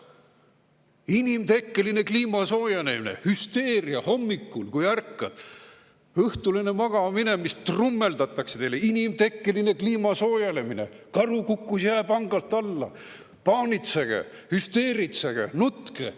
Inimtekkeline kliimasoojenemine, hüsteeria hommikul, kui ärkad, õhtul enne magama minemist trummeldatakse teile: inimtekkeline kliimasoojenemine, karu kukkus jääpangalt alla, paanitsege, hüsteeritsege, nutke.